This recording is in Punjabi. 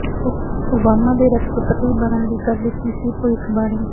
ਓਬਾਮਾ ਦੇ ਰਾਸ਼ਟਰਪਤੀ ਬਣਨ ਦੀ ਕਰ ਦਿੱਤੀ ਸੀ ਭਵਿੱਖਬਾਣੀ